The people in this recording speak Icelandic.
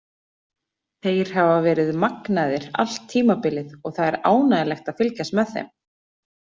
Þeir hafa verið magnaðir allt tímabilið og það er ánægjulegt að fylgjast með þeim.